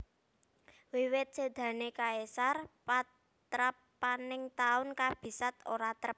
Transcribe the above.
Wiwit sédané Caesar patrapaning taun kabisat ora trep